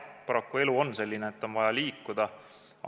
Paraku elu on selline, et on vaja liikuda.